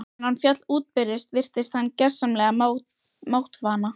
Þegar hann féll útbyrðis virtist hann gersamlega máttvana.